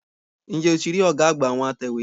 N jẹ́ o ti rí ọ̀gá àgbà àwọn atẹ̀wé?